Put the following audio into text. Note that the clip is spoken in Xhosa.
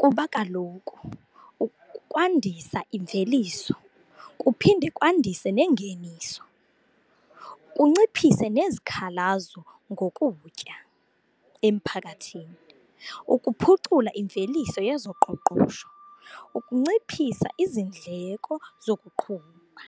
kuba kaloku kwandisa imveliso kuphinde kwandise neengeniso, kunciphise nezikhalazo ngokutya emphakathini. Ukuphucula imveliso yezoqoqosho, ukunciphisa iindleko zokuqhuba.